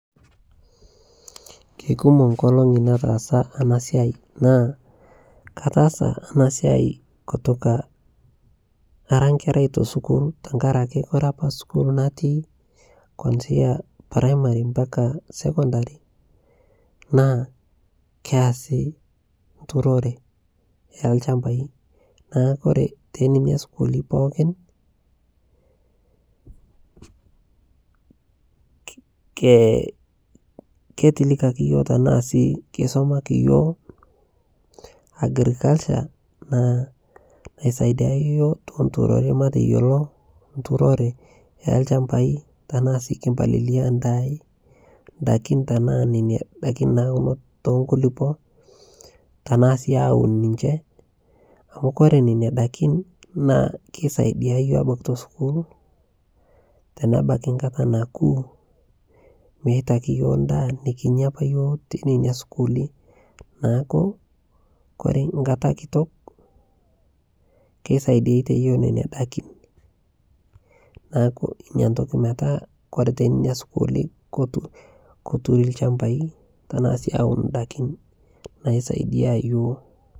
keikumoo nkolongii nataasa anaa siai naa kataasa anaa siai kutokaa araa nkerai te sukuul tankarakee kore apaa sukuul natii kuanzia primari mpakaa sekondari naa keasii nturoree eee lshampai naa kore tenenia sukuuli pookin ketilikakii yooh tanaa sii keisomakii yooh agriculture naisaidia yooh to nturoree mateyoloo nturoree ee lshampai tanaa sii kimpalilia ndaai ndakin tanaa nenia dakin naunoo to nkulupoo tanaa sii awun ninchee amu kore nenia dakin naa keisaidia yooh abakii to sukuul tanabakii nkataa nakuu meitakii yooh ndaa nikinyaa apaa yooh tenenia sukuuli naaku kore nkataa kitok keisaidiatee yooh nenia dakin naaku inia tokii metaa kore tenenia sukuuli korurii lshampai tanaa sii awun ndakin naisaidia yooh